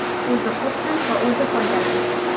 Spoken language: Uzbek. O‘zi qursin va o‘zi foydalansin.